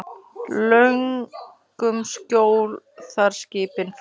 Löngum skjól þar skipin fá.